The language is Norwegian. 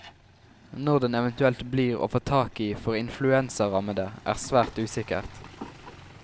Når den eventuelt blir å få tak i for influensarammede, er svært usikkert.